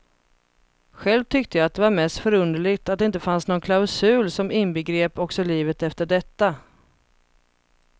Själv tyckte jag att det var mest förunderligt att det inte fanns någon klausul som inbegrep också livet efter detta.